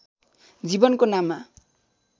जीवनको नाममा